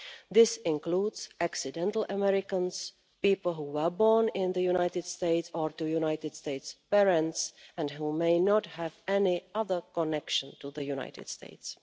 This includes accidental Americans' people who were born in the United States or to United States parents and who may not have any other connection to the United States.